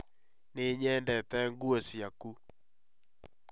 Nĩ nyendete nguo ciaku